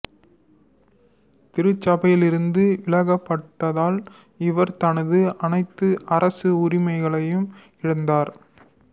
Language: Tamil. திருச்சபையிலிருந்து விலக்கப்பட்டதால் இவர் தனது அனைத்து அரச உறிமைகளையும் இழந்தார்